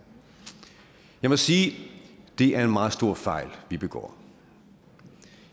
jeg må sige at det er en meget stor fejl vi begår